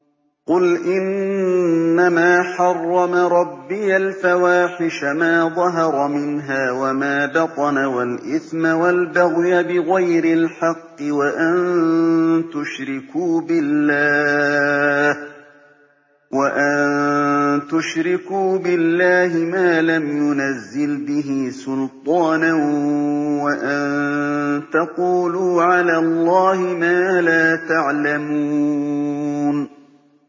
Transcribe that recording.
قُلْ إِنَّمَا حَرَّمَ رَبِّيَ الْفَوَاحِشَ مَا ظَهَرَ مِنْهَا وَمَا بَطَنَ وَالْإِثْمَ وَالْبَغْيَ بِغَيْرِ الْحَقِّ وَأَن تُشْرِكُوا بِاللَّهِ مَا لَمْ يُنَزِّلْ بِهِ سُلْطَانًا وَأَن تَقُولُوا عَلَى اللَّهِ مَا لَا تَعْلَمُونَ